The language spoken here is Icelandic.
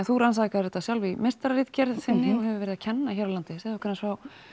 þú rannsakaðir þetta sjálf í meistararitgerð þinni og hefur verið að kenna hér á landi segðu okkur aðeins